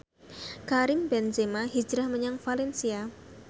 Karim Benzema hijrah menyang valencia